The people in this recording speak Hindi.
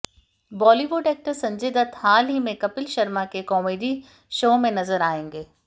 बॉलीवुड एक्टर संजय दत्त हाल ही में कपिल शर्मा के कॉमेडी शो में नजर आएंगे